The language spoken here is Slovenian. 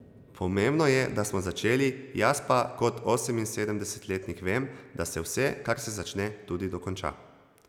Pomembno je, da smo začeli, jaz pa kot oseminsedemdesetletnik vem, da se vse, kar se začne, tudi dokonča.